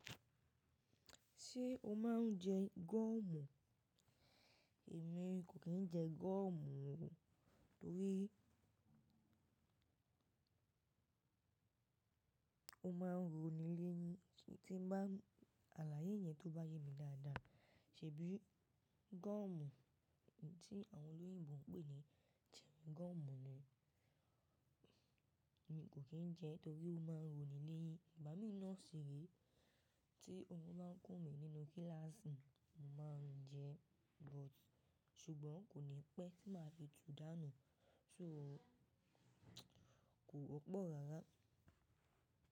Ṣé o máa ń jẹ gọ́ọ̀mù? Èmi kò kì í jẹ gọ́ọ̀mù o torí ó máa ń ronilẹ́yìn. Tí bá, aláyé yẹn tó bá yé mi dáadáa, ṣèbí gọ́ọ̀mù tí àwọn olóyìnbo ń pè ní chewing gum ni, èmi kò kì í jẹ torí ó máa ń ronilẹ́yìn. Igbá mi náà ṣì re, tí orun ba kùn mí nínú kíláàsì, mo máa ń jẹ but ṣùgbọ́n kò ní pẹ́ tí ma fi tu dánù. So kò pọ̀ rárá.